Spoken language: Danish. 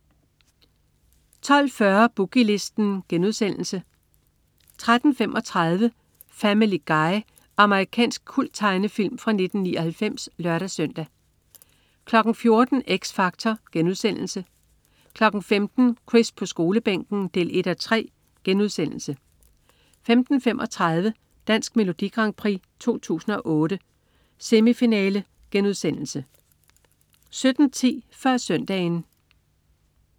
12.40 Boogie Listen* 13.35 Family Guy. Amerikansk kulttegnefilm fra 1999 (lør-søn) 14.00 X Factor* 15.00 Chris på Skolebænken 1:3* 15.35 Dansk Melodi Grand Prix 2008. 1. semifinale* 17.10 Før Søndagen